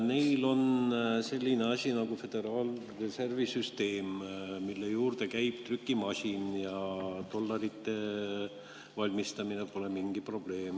Neil on selline asi nagu Föderaalreservi Süsteem, mille juurde käib trükimasin, ja dollarite valmistamine pole mingi probleem.